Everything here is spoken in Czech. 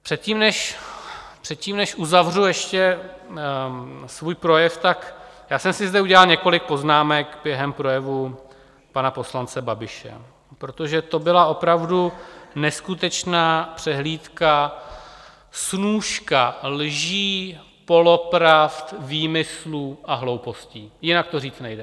Předtím, než uzavřu ještě svůj projev, tak já jsem si zde udělal několik poznámek během projevu pana poslance Babiše, protože to byla opravdu neskutečná přehlídka, snůška lží, polopravd, výmyslů a hloupostí, jinak to říct nejde.